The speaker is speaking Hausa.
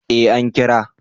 Eh an kira